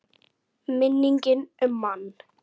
Minning um mann.